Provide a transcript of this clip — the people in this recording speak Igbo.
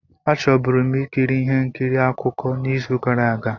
A chọburu m ikiri ihe nkiri akụkọ n'izu gara aga.